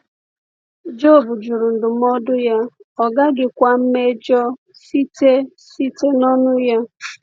Jọb jụrụ ndụmọdụ ya, ọ gaghịkwa “mejọ site site n’ọnụ ya.”